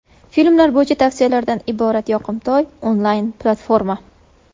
Filmlar bo‘yicha tavsiyalardan iborat yoqimtoy onlayn-platforma.